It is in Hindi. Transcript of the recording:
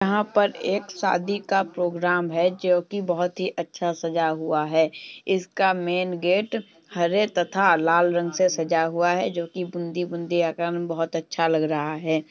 यहाॅं पर एक शादी का प्रोग्राम है जो कि बोहोत ही अच्छा सजा हुआ है इसका मेन गेट हरे तथा लाल रंग से सजा हुआ है जो कि बूंदी -बूंदी बोहोत ही अच्छा लग रहा है।